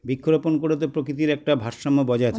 বৃক্ষরোপণ করেতো প্রকৃতির একটা ভারসাম্য বজায়